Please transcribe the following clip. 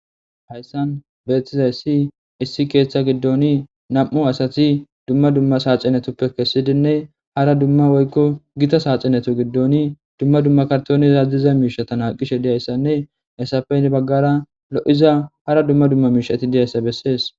Hayssan beetizay ssi issi keeththa giddoni nam'u asati dumma dumma saaxinetuppe kessidinne hara dumma woykko gita saaxinetu giddoni dumma dumma kartoonizaazdiza miishatana qishe diyayssanne essape baggara lo'iza hara dumma dumma miishati diyayssa bessees.